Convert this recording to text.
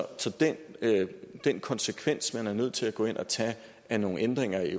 den den konsekvens man er nødt til at gå ind og tage af nogle ændringer i